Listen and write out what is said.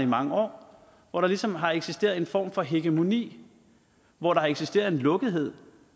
mange år hvor der ligesom har eksisteret en form for hegemoni hvor der har eksisteret en lukkethed